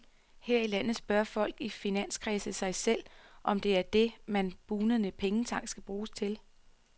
Her i landet spørger folk i finanskredse sig selv, om det er det, den bugnende pengetank skal bruges til.